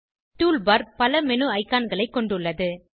tool bar பல menu ஐகான்களைக் கொணடுள்ளது